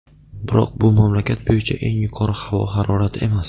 Biroq bu mamlakat bo‘yicha eng yuqori havo harorati emas.